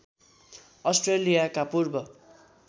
अष्ट्रेलियाका पूर्व